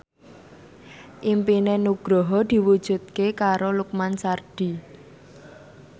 impine Nugroho diwujudke karo Lukman Sardi